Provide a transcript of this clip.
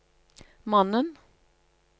mannen